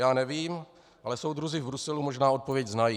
Já nevím, ale soudruzi v Bruselu možná odpověď znají.